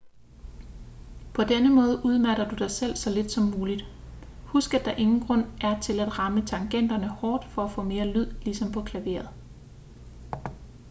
på denne måde udmatter du dig selv så lidt som muligt husk at der ingen grund er til at ramme tangenterne hårdt for at få mere lyd ligesom på klaveret